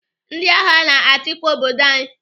Ndị agha na-achịkwa obodo anyị.